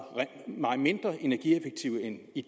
mindre energieffektive end i